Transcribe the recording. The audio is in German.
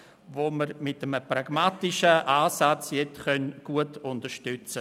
Wir können diese mit einem pragmatischen Ansatz gut unterstützen.